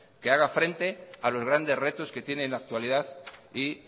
que haga frente a los grandes retos que tiene en la actualidad y